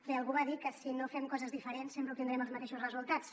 bé algú va dir que si no fem coses diferents sempre obtindrem els mateixos resultats